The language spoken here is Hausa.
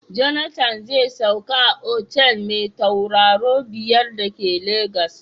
Jonathan zai sauka a otal mai tauraro biyar da ke Lagos.